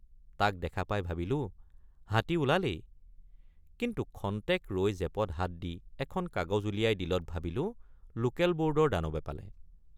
তাক দেখা পাই ভাবিলোঁ হাতী ওলালেই কিন্তু ক্ষন্তেক ৰৈ জেপত হাত দি এখন কাগজ উলিয়াই দিলত ভাবিলোঁ লোকেলবোৰ্ডৰ দানবে পালে।